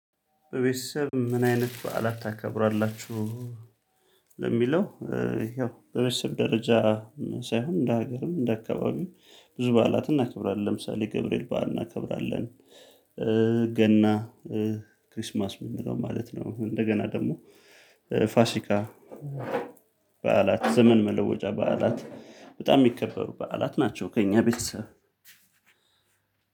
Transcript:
በቤተሰብ ምን አይነት በዓላት ታከብራላችሁ? ለሚለው ይኸው በቤተሰብ ደረጃ ሳይሆን እንደ ሀገርም እንደ አካባቢም ብዙ በዓላት እናከብራለን ለምሳሌ ገብርኤል በዓል እናከብራለን ገና ክሪስማስ እምንለው ማለት ነው እንደገና ደሞ ፋሲካ በዓላት ዘመን መለወጫ በዓላት በጣም እሚከበሩ በዓላት ናቸው ከእኛ ቤተሰብ